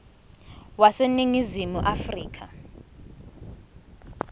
wase ningizimu afrika